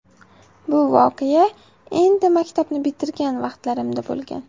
Bu voqea endi maktabni bitirgan vaqtlarimda bo‘lgan.